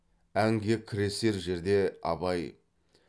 әнге кіресер жерде абай